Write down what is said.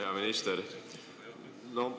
Hea minister!